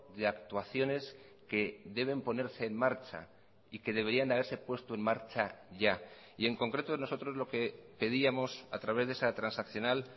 de actuaciones que deben ponerse en marcha y que deberían haberse puesto en marcha ya y en concreto nosotros lo que pedíamos a través de esa transaccional